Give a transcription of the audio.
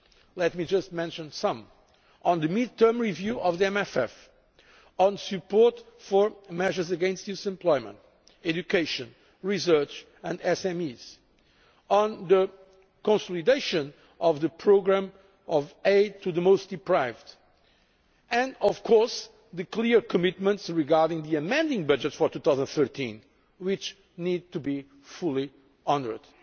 Let me just mention some of them on the midterm review of the MFF, on support for measures against youth unemployment, education, research and SMEs, on the consolidation of the programme of aid to the most deprived and the clear commitments regarding the amending budget for 2013, which need to be fully honoured.